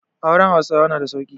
Auren Hausawa na da sauƙi.